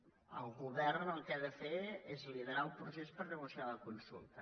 és a dir el govern el que ha de fer és liderar el procés per negociar la consulta